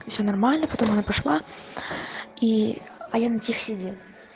ещё нормально потом она пошла и а я на тех сидел